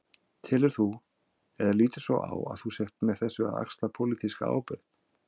Telur þú, eða lítur svo á að þú sért með þessu að axla pólitíska ábyrgð?